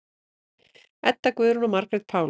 Edda Guðrún og Margrét Pála.